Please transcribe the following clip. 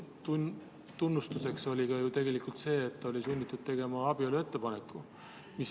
Selle tunnistuseks oli ju tegelikult see, et ta oli sunnitud tegema abieluettepaneku.